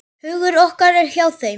Hugur okkar er hjá þeim.